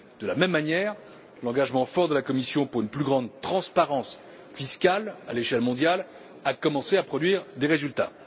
De la même manière, l'engagement fort de la Commission en faveur d'une plus grande transparence fiscale à l'échelle mondiale a commencé à produire des résultats.